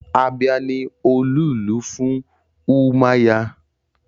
Abia ni olú-ìlú fún Umuahia